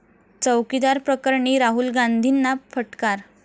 चौकीदार प्रकरणी राहुल गांधींना फटकार